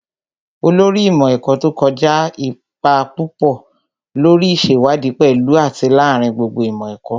Olórí ìmọ̀ ẹ̀kọ́ tó kọjá kó ipa púpọ̀ lórí ìṣèwádìí pẹ̀lú àti lááríin gbogbo ìmọ̀ ẹ̀kọ́